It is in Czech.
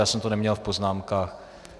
Já jsem to neměl v poznámkách.